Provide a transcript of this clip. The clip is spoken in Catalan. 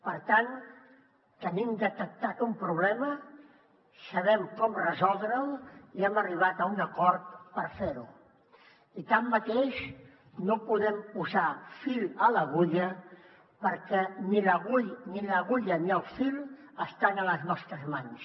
per tant tenim detectat un problema sabem com resoldre’l i hem arribat a un acord per fer ho i tanmateix no podem posar fil a l’agulla perquè ni l’agulla ni el fil estan a les nostres mans